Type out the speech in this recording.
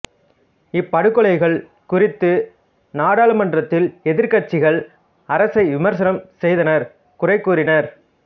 இப்படுகொலைகள் குறித்து நாடாளுமன்றத்தில் எதிர்கட்சிகள் அரசை விமர்சனம் செய்தனர் குறைகூறினர்